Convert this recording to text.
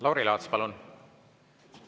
Lauri Laats, palun!